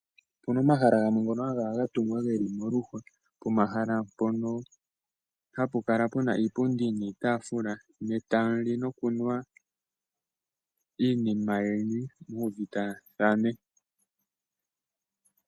Opuna omahala gamwe ngoka haga kala gatungwa geli moluhwa. Ohapu kala puna iipundi niitaafula ne tamuli nokunwa iinima yeni muuvitathane.